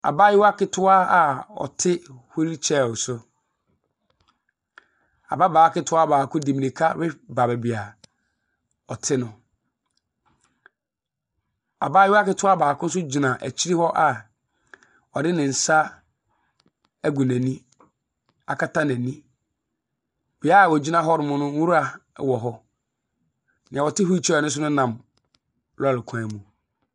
Abaayewa ketewa a ɔte wheel chair so. Ababaa ketewa baako de mmira baa baaabi a ɔte no. Abayewa nso gyina akyi hɔ a ɔde ne nsa agu n'ani akata n'ani. Bea a wogyina hɔ no nwura wɔ hɔ. Nea ɔte wheel chair so no nam lɔɔre kwan mu.